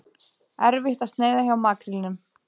Erfitt að sneiða hjá makrílnum